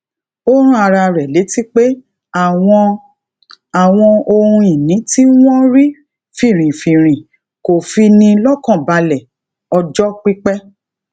ó rán ara rẹ létí pé àwọn àwọn ohun ìní tí wọn rí finrinfinrin kò fi ni lọkànbalẹ ọjọ pípẹ